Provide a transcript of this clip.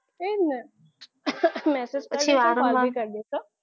એ જ ને message કરી દઈ હું call બી કરી દઈશું